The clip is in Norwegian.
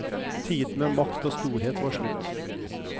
Tiden med makt og storhet var slutt.